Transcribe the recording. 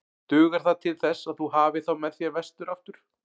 Dugar það til þess að þú hafir þá með þér vestur aftur?